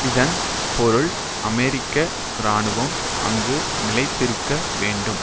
இதன் பொருள் அமெரிக்க இராணுவம் அங்கு நிலைத்திருக்க வேண்டும்